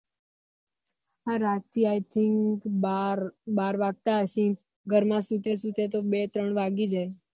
રાતે i think બાર બાર વાગતા હશે ઘર માં સૂતે સૂતે તો બે ત્રણ વાગી જાય